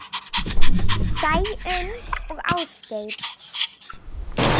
Sæunn og Ásgeir.